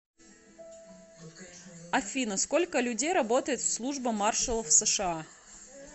афина сколько людей работает в служба маршалов сша